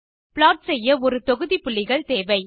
plot செய்ய ஒரு தொகுதி புள்ளிகள் தேவை